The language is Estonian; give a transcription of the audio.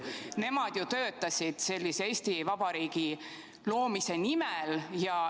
Nemad ju töötasid sellise Eesti Vabariigi loomise nimel.